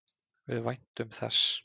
Við væntum þess.